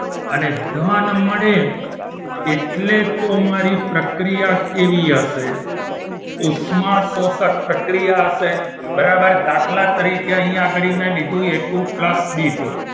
અને ધન મળે એટલે તો મારી પ્રક્રિયા કેવી આપે ઉષ્માશોષક પ્રક્રિયા હશે બરાબર દાખલા તરીકે અહીંયા આગળ મેં લીધું કે ટુ plus કે વન